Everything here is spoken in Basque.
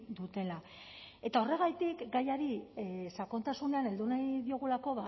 dutela eta horregatik gaiari sakontasunean heldu nahi diogulako